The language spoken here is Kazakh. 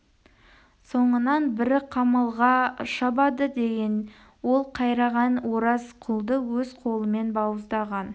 соңынан бірі қамалға шабады деген ол қайраған ораз құлды өз қолымен бауыздаған